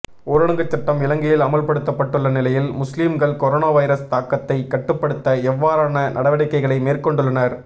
ஊரடங்கு சட்டம் இலங்கையில் அமுல்படுத்தப்பட்டுள்ள நிலையில் முஸ்லீம்கள் கொரோனா வைரஸ் தாக்கத்தை கட்டுப்படுத்த எவ்வாறான நடவடிக்கைகளை மேற்கொண்டுள்ளனர்